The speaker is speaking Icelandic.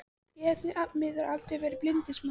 Ég hef því miður aldrei verið bindindismaður.